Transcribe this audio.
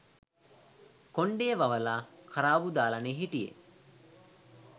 කොණ්ඩේ වවලා කරාබු දාලනේ හිටියේ